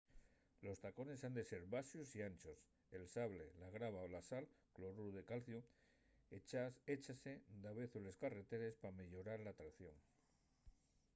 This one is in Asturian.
los tacones han ser baxos y anchos. el sable la grava o’l sal cloruru de calciu échase davezu a les carreteres p’ameyorar la tracción